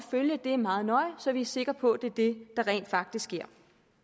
følge det meget nøje så vi er sikre på at det er det der rent faktisk sker